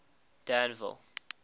danville